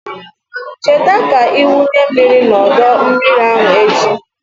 Cheta ka ị wunye mmiri n'ọdọ mmiri ahụ echi.